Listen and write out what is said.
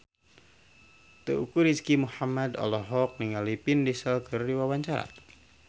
Teuku Rizky Muhammad olohok ningali Vin Diesel keur diwawancara